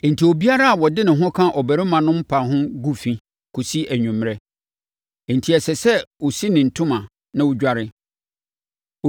enti obiara a ɔde ne ho ka ɔbarima no mpa ho gu fi kɔsi anwummerɛ, enti ɛsɛ sɛ ɔsi ne ntoma na ɔdware.